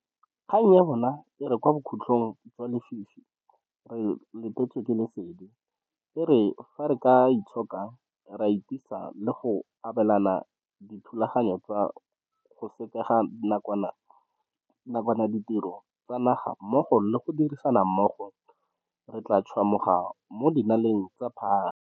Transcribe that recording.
Kgang ya bona e re raya e re kwa bokhutlhong jwa lefifi re letetswe ke lesedi, e re fa re ka itshoka, ra itisa le go obamela dithulaganyo tsa go sekega nakwana ditiro tsa naga mmogo le go dirisana mmogo, re tla tšhwamoga mo dinaleng tsa phage.